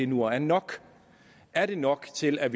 nu er nok er det nok til at